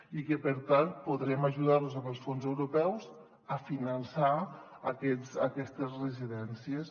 i per tant podrem ajudar·los amb els fons europeus a finançar aquestes residències